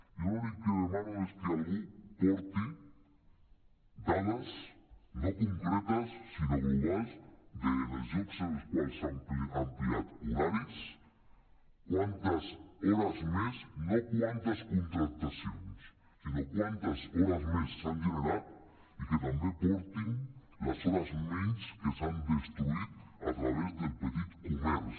jo l’únic que demano és que algú porti dades no concre·tes sinó globals dels llocs en els quals s’han ampliat horaris quantes hores més no quantes contractacions sinó quantes hores més s’han generat i que també portin les hores menys que s’han destruït a través del petit comerç